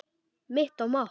Mitt mat?